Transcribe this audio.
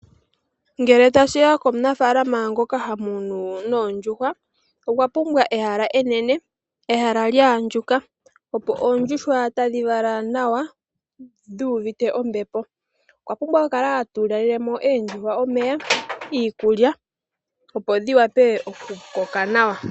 Ngele tashi ya komunafaalama ngoka ha munu noondjuhwa, okwa pumbwa ehala enene, ehala lya andjuka, opo oondjuhwa dhi kale tadhi vala nawa, dhu uvite ombepo. Okwa pumbwa oku kala ta tulile mo oondjuhwa omeya, iikulya, opo dhi wape oku kala tadhi vala nawa.